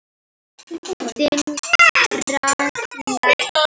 Þinn Ragnar.